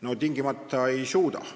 No tingimata ei suuda.